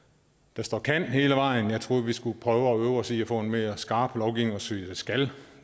der står kan hele vejen jeg troede vi skulle prøve at øve os i at få en mere skarp lovgivning og sige skal